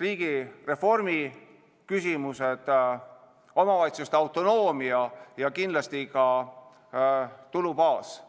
riigireformi küsimused, omavalitsuste autonoomia ja kindlasti ka tulubaas.